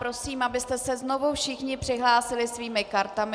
Prosím, abyste se znovu všichni přihlásili svými kartami.